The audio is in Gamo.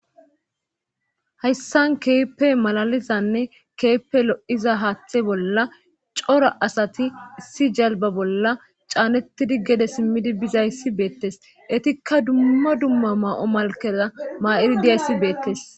Hayssan keeppey malalizanne keeppe lo'iza haaththe bolla cora asati issi jalba bolla caanettidi gede simmidi bizayssi beettes etikka dumma dumma ma'o malkeza maa'iri dizayssi beettes.